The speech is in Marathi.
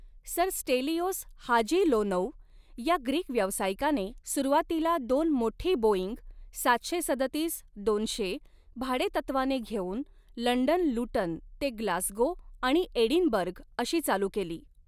सर स्टेलिओस हाजी लोनौ या ग्रीक व्यावसायिकाने सुरुवातीला दोन मोठी बोइंग सातशे सदतीस दोनशे भाडे तत्त्वाने घेऊन लंडन लुटन ते ग्लासगो आणि एडिनबर्ग अशी चालू केली.